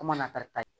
Kom'a karita ye